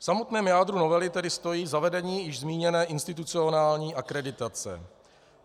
V samotném jádru novely tedy stojí zavedení již zmíněné institucionální akreditace.